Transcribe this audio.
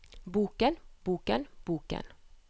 boken boken boken